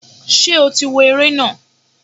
Ṣé o tí wo ere na?